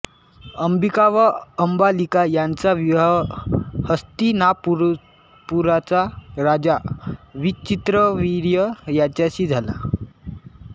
अंबिका व अंबालिका यांचा विवाह हस्तिनापुराचा राजा विचित्रवीर्य याच्याशी झाला